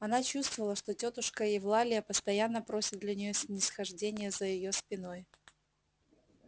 она чувствовала что тётушка евлалия постоянно просит для неё снисхождения за её спиной